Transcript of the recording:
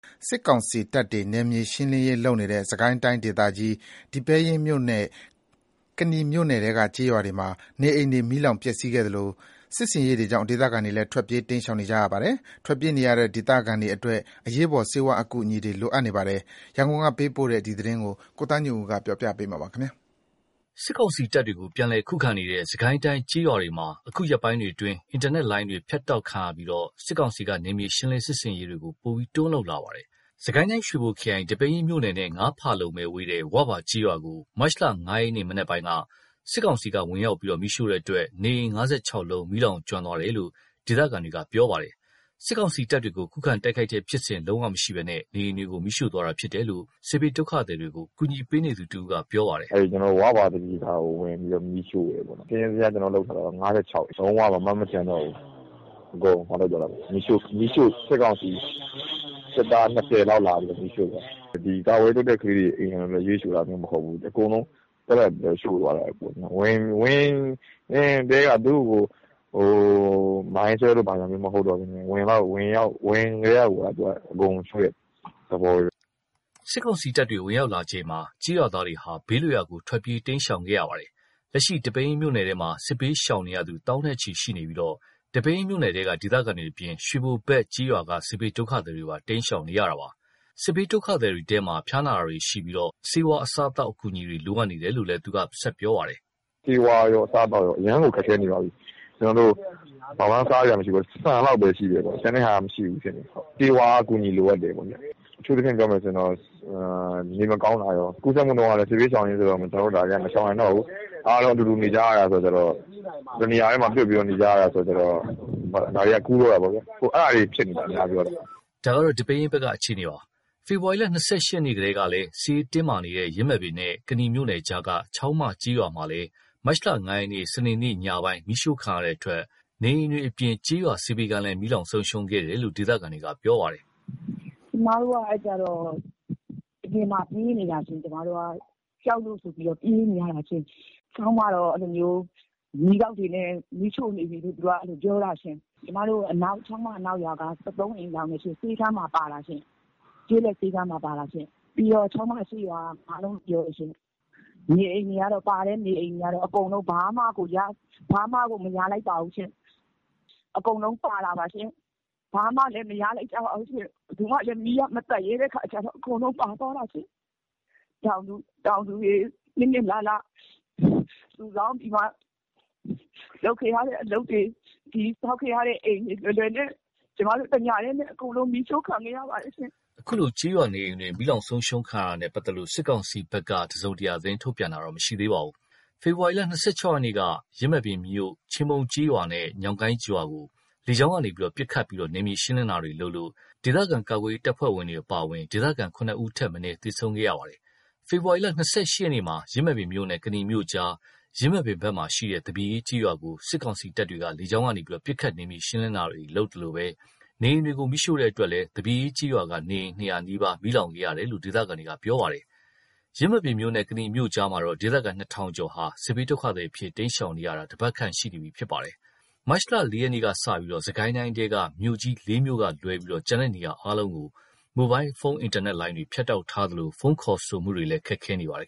စစ်ကောင်စီတပ်တွေ နယ်မြေရှင်းလင်းရေး လုပ်နေတဲ့ စစ်ကိုင်းတိုင်းဒေသကြီး ဒီပဲယင်းမြို့နဲ့ ကနီမြို့နယ်ထဲက ကျေးရွာတွေမှာ နေအိမ်တွေ မီးလောင်ပျက်စီးခဲ့သလို စစ်ဆင်ရေးတွေကြောင့် ဒေသခံတွေလည်း ထွက်ပြေးတိမ်းရှောင်နေရပါတယ်။ ထွက်ပြေးနေရတဲ့ ဒေသခံတွေအတွက် အရေးပေါ် ဆေးဝါးအကူအညီတွေ လိုအပ်နေပါတယ်။ ရန်ကုန်က ပေးပို့လာတဲ့သတင်းကို ကိုသားညွန့်ဦး ပြောပြမှာပါ။ စစ်ကောင်စီတပ်တွေကို ပြန်လည်ခုခံနေတဲ့ စစ်ကိုင်းတိုင်း ကျေးရွာတွေမှာ အခုရက်ပိုင်းအတွင်း အင်တာနက်လိုင်းတွေ ဖြတ်တောက်ပြီး စစ်ကောင်စီက နယ်မြေရှင်းလင်း စစ်ဆင်ရေးတွေ တွန်းလုပ်လာပါတယ်။ စစ်ကိုင်းတိုင်း ရွှေဘိုခရိုင် ဒီပဲယင်းမြို့နယ်နဲ့ ၅ ဖာလုံသာဝေးတဲ့ ဝဘာကျေးရွာကို မတ်လ ၅ ရက် မနက်ပိုင်းမှာ စစ်ကောင်စီက ဝင်ရောက်ပြီး မီးရှို့တဲ့အတွက် နေအိမ် ၅၆ လုံး မီးလောင်ကျွမ်းသွားတယ်လို့ ဒေသခံတွေက ပြောပါတယ်။ စစ်ကောင်စီတပ်တွေကို ခုခံတိုက်ခိုက်တဲ့ဖြစ်စဉ် မရှိဘဲ နေအိမ်တွေကို မီးရှို့သွားတာဖြစ်တယ်လို့ စစ်ဘေးဒုက္ခသည်တွေကို ကူညီပေးနေသူတဦးက အခုလိုပြောပါတယ်။ “ဝဘာ သပြေသာကို ဝင်ပြီး မီးရှို့တယ်ပေါ့။ စာရင်းဇယား ကျနော်လုပ်ထားတာက ၅၆ စု လုံးဝ ဘာမှ မကျန်တော့ဘူး။ အကုန်မီးရှို့၊ စစ်ကောင်စီစစ်သား ၂၀ လောက်လာပြီး မီးရှို့သွားတာ။ ကာကွယ်ရေးလုပ်တဲ့ ကလေးတွေအိမ်ကိုပဲ မီးရှို့တာမျိုး မဟုတ်ဘူး။ အကုန်လုံး သက်သက်ရှို့သွားတာ။ ဝင်ကတည်းက သူတို့ကို မိုင်းဆွဲတာမျိုးမဟုတ်ဘဲ ဝင်ကတည်းက အကုန်ရှို့တဲ့သဘောပဲ။” စစ်ကောင်စီတပ်တွေ ဝင်ရောက်လာချိန်မှာ ကျေးရွာသားတွေဟာ ဘေးလွတ်ရာကို ထွက်ပြေး တိမ်းရှောင်ခဲ့ရပါတယ်။ လက်ရှိ ဒီပဲယင်းမြို့နယ်ထဲမှာ စစ်ဘေးရှောင်နေရသူ သောင်းနဲ့ချီရှိပြီး ဒီပဲယင်းမြို့နယ်ထဲက ဒေသခံတွေအပြင် ရွှေဘိုဘက် ကျေးရွာက စစ်ဘေးဒုက္ခသည်တွေပါ တိမ်းရှောင်နေရတာပါ။ စစ်ဘေးဒုက္ခသည်တွေထဲမှာ ဖျားနာတာတွေရှိပြီး ဆေးဝါး၊ အစားအသောက် အကူအညီတွေ လိုအပ်နေတယ်လို့ သူက ဆက်ပြောပါတယ်။ “ဆေးဝါးကော အစားအသောက်ကော အရမ်းကို ခက်ခဲနေပြီ။ ဆန်လောက်ပဲရှိတယ်။ ကျန်တဲ့ဟာက မရှိဘူးဖြစ်နေတယ်။ ဆေးဝါးအကူအညီ လိုအပ်တယ်ပေါ့။ အထူးသဖြင့် ပြောမယ်ဆိုရင် နေမကောင်းတာရော ကူးစက်မှုနှုန်းက စစ်ဘေးရှောင်တွေဆိုတော့ မရှောင်နိုင်တော့ဘူး၊ အားလုံးက အတူတူနေကြရတာဆိုတော့ တနေရာတည်း ပြွတ်ပြီး နေကြရတာဆိုတော့ ဒါတွေက ကူးတော့တာဗျာ။ အခု အဲ့ဒါတွေ အများစုက ဖြစ်နေတာ။” ဒါက ဒီပဲယင်းဘက်က အခြေအနေပါ။ ဖေဖော်ဝါရီ ၂၈ ရက်ကလည်း စစ်ရေးတင်းမာနေတဲ့ ယင်းမာပင်မြို့နဲ့ ကနီမြို့နယ်ကြားက ချောင်းမကျေးရွာမှာလည်း မတ်လ ၅ ရက် စနေနေ့ညပိုင်းက မီးရှို့ခံရတဲ့အတွက် နေအိမ်တွေအပြင် ကျေးရွာ ဆေးပေးခန်းလည်း မီးလောင်ဆုံးရှုံးခဲ့တယ်လို့ ဒေသခံတွေက ပြောပါတယ်။ “ကျမတို့က အပြင်မှာ ပြေးနေရတာ။ ကြောက်လို့ ပြေးနေရတာ။ ချောင်းမတော့ မီးတောက်တွေနဲ့ မီးရှို့နေပြီလို့ ပြောတာ။ ကျမတို့ ချောင်းမ အနောက်ရွာက ၁၃ အိမ်လောင်တယ်။ ဆေးခန်းပါ ပါတာ။ ကျေးလက်ဆေးခန်းပါ ပါတာ။ ပြီးတော့ ချောင်းမအရှေ့ရွာက ၅ လုံးကျော်တယ်။ နေအိမ်တွေ ပါတဲ့နေအိမ်တွေကတော့ ဘာမှကို မရလိုက်ပါဘူး။ အကုန်လုံးပါတာပါ။ ဘာမှလည်းမရလိုက်ဘူး။ လုံးဝလည်း မီးက မသတ်ရဲတဲ့အခါကျတော့ အကုန်လုံးပါသွားတာ။ တောင်သူတွေ အနှစ်နှစ်အလလ စုဆောင်းပြီးမှ လုပ်ခဲ့ရတဲ့ အလုပ်တွေ၊ ဆောက်ခဲ့ရတဲ့အိမ်တွေ တညတည်းနဲ့ မီးရှို့ခံခဲ့ရပါတယ်။” အခုလို ကျေးရွာနေအိမ်တွေ မီးလောင်ခံရတာနဲ့ ပတ်သက်လို့ စစ်ကောင်စီဘက်က သတင်းထုတ်ပြန်တာတော့ မရှိသေးပါဘူး။ ဖေဖော်ဝါရီ ၂၆ ရက်က ယင်းမာပင်မြို့ ချင်းပုန်းကျေးရွာနဲ့ ညောင်ကိုင်းရွာကို လေကြောင်းကနေ ပစ်ခတ်ပြီး နယ်မြေရှင်းလင်းတာတွေ လုပ်လို့ ဒေသခံ ကာကွယ်ရေးတပ်ဖွဲ့ဝင် အပါအဝင် ဒေသခံ ၇ ဦးထက်မနည်း သေဆုံးခဲ့ပါတယ်။ ဖေဖော်ဝါရီ ၂၈ ရက်မှာ ယင်းမာပင်မြို့နဲ့ ကနီမြို့ကြား ယင်းမာပင်ဘက်မှာရှိတဲ့ သပြေအေးကျေးရွာကို စစ်ကောင်စီတပ်တွေ လေကြောင်းကနေ ပစ်ခတ် နယ်မြေရှင်းလင်းတာတွေ လုပ်သလို နေအိမ်တွေကို မီးရှို့တဲ့အတွက် သပြေအေးကျေးရွာက နေအိမ် ၂၀၀ နီးပါး မီးလောင်ခဲ့ရတယ်လို့ ဒေသခံတွေက ပြောပါတယ်။ ယင်းမာပင်မြို့နဲ့ ကနီမြို့ကြားက ဒေသခံ ၂,၀၀၀ ကျော်ဟာ စစ်ဘေးဒုက္ခသည်အဖြစ် တိမ်းရှောင်နေရတာ တပတ်ခန့်ရှိနေပြီလည်း ဖြစ်ပါတယ်။ မတ်လ ၄ ရက်ကစလို့ စစ်ကိုင်းတိုင်းထဲက မြို့ကြီး ၄ မြို့ကလွဲလို့ ကျန်တဲ့နေရာတွေကို မိုဘိုင်းဖုန်း အင်တာနက်လိုင်းတွေ ဖြတ်တောက်ထားသလို ဖုန်းခေါ်ဆိုမှုတွေလည်း ခက်ခဲနေပါတယ်